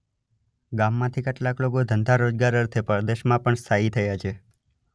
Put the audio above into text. ગામમાંથી કેટલાક લોકો ધંધા - રોજગાર અર્થે પરદેશમાં પણ સ્થાયી થયા છે.